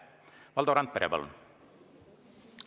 Valdo Randpere, palun!